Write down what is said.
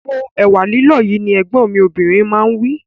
Po ẹ̀wà lílọ̀ yìí! Ní Ẹ̀gbọ́n mi obìnrin máa wí